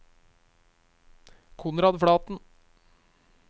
Konrad Flaten